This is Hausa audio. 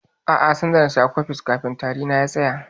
A'a, sai da nasha cofex kafin tari na ya tsaya.